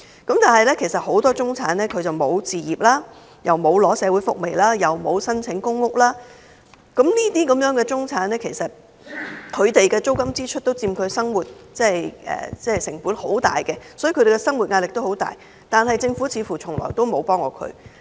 但是，其實很多中產人士並無置業，也沒有領取社會福利或申請公屋，這類人士的租金支出也佔其生活開支很大部分，他們的生活壓力也很大，但政府似乎從來沒有幫過他們。